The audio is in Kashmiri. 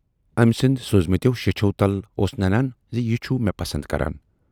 ٲمۍ سٕندۍ سوٗزۍمٕتٮ۪و شیچھو تل اوس ننان زِ یہِ چھُ مےٚ پسند کران۔